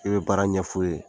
I be baara ɲɛf'u ye